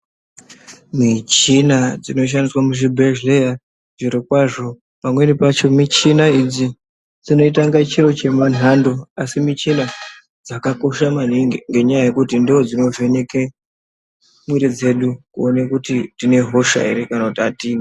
Mishina dzinoshandiswa muzvibhedhleya, zvirokwazvo pamweni pacho michina idzi dzinoita inga chiro chenhando, asi michina dzakakosha maningi, ngenyaya yekuti, ndoodzinovheneke mwiri dzedu ,kuone kuti tine hosha here kana kuti atina.